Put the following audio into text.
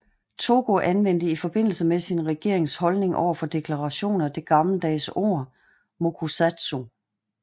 Togo anvendte i forbindelse med sin regerings holdning overfor deklarationen det gammeldags ord mokusatsu